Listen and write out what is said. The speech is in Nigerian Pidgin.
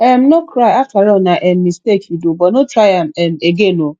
um no cry afterall na um mistake you do but no try am um again oo